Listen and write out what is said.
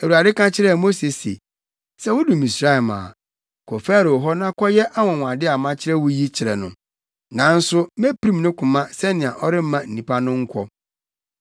Awurade ka kyerɛɛ Mose se, “Sɛ wudu Misraim a, kɔ Farao hɔ na kɔyɛ anwonwade a makyerɛ wo yi kyerɛ no, nanso mepirim ne koma sɛnea ɔremma nnipa no nkɔ.